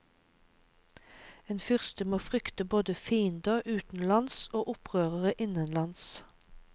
En fyrste må frykte både fiender utenlands og opprørere innenlands.